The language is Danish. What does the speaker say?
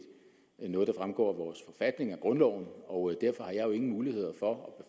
noget der fremgår af vores forfatning af grundloven og derfor har jeg jo ingen muligheder for